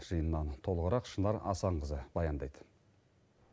жиыннан толығырақ шынар асанқызы баяндайт